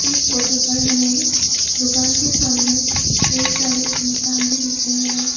इस फोटो पर हमें दुकान के सामने कई सारे इंसान भी दिख रहे हैं।